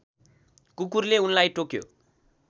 कुकुरले उनलाई टोक्यो